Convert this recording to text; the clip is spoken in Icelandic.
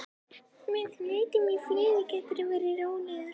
Meðan þú lætur mig í friði geturðu verið rólegur.